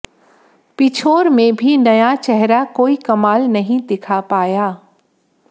पिछोर में भी नया चेहरा कोई कमाल नहीं दिखा पाया